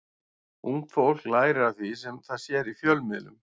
Ungt fólk lærir af því sem það sér í fjölmiðlum.